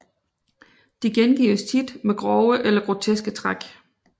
De gengives tit med grove eller groteske træk